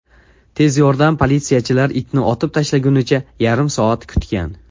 Tez yordam politsiyachilar itni otib tashlagunicha yarim soat kutgan.